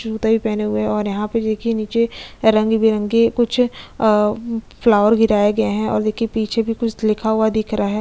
जूते भी पहने हुए है और यहाँ पे देखिये निचे रंग बिरंगे कुछ अ फ्लावर गिराए गए है और देखिये पीछे भी कुछ लिखा हुआ दिख रहा है।